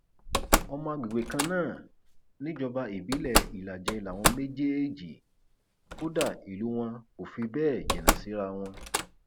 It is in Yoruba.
ọmọ àgbègbè kan náà níjọba ìbílẹ ìlàjẹ làwọn méjèèjì kódà ìlú wọn kò fi bẹẹ jìnnà síra wọn